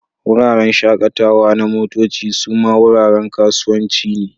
Wuraren shakatawa na motoci suma wuraren kasuwanci ne.